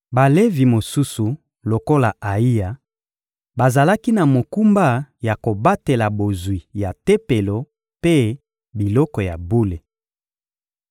Balevi mosusu lokola Ayiya, bazalaki na mokumba ya kobatela bozwi ya Tempelo mpe biloko ya bule.